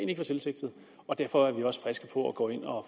ikke var tilsigtet og derfor er vi også friske på at gå ind og